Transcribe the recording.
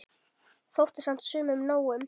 Þótti samt sumum nóg um.